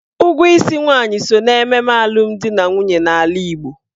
Ụgwọ isi nwaanyị so n'ememe alụmdi na nwunye n'ala Igbo.